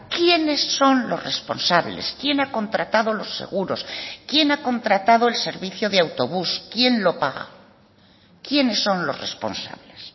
quiénes son los responsables quién ha contratado los seguros quién ha contratado el servicio de autobús quién lo paga quiénes son los responsables